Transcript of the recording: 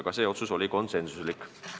Ka see otsus oli konsensuslik.